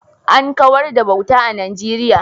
An kawar da bauta a Najeriya